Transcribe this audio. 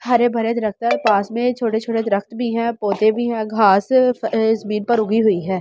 हरे भरे पास में छोटे छोटे भी हैं घास इस पर उगी हुई है।